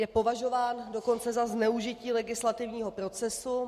Je považován dokonce za zneužití legislativního procesu.